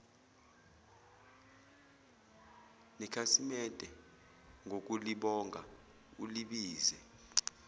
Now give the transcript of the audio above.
nekhasimede ngokulibonga ulibize